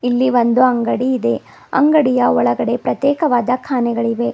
ಇಲ್ಲಿ ಒಂದು ಅಂಗಡಿ ಇದೆ ಅಂಗಡಿಯ ಒಳಗಡೆ ಪ್ರತ್ಯೇಕವಾದ ಕಾಣೆಗಳಿವೆ.